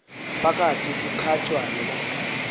phakathi kukatshaka nomadzikane